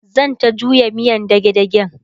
zanta juya miyan dage dagen